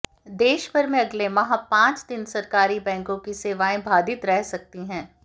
देश भर में अगले माह पांच दिन सरकारी बैंकों की सेवाएं बाधित रह सकती हैं